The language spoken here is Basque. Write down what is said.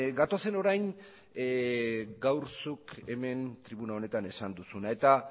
gatozen orain gaur zuk hemen tribuna honetan esan duzuna eta